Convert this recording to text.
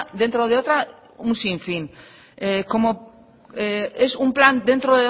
dentro de otra un sinfín es un plan dentro